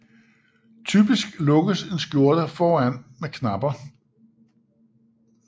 Typisk lukkes en skjorte foran med knapper